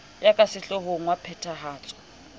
ya ka sehloohong wa phethahatso